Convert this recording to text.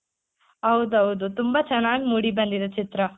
ಹೌದೌದು ತುಂಬಾ ಚೆನ್ನಾಗ್ ಮೂಡಿ ಬಂದಿದೆ ಚಿತ್ರ